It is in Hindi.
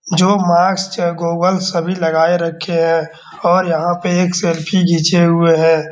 जो मास्क सभी लगाए रखे है और यहाँ पे एक सेल्फी घीचे हुए है।